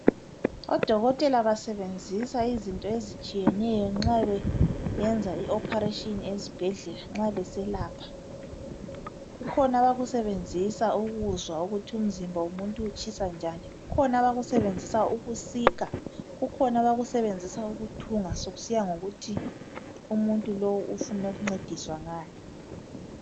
Odokotela basebenzisa izinto ezitshiyeneyo nxa beyenza ioperation ezibhedlela nxa beselapha. Kukhona abakusebenzisa ukuzwa ukuthi umzimba womuntu utshisa njani, kukhona abakusebenzisa ukusika, kukhona abakusebenzisa ukuthunga kusiya ngokuthi umuntu lowu ufuna ukuncediswa ngani.